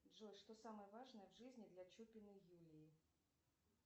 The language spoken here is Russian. джой что самое важное в жизни для чупиной юлии